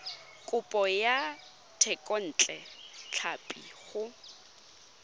kopo ya thekontle tlhapi go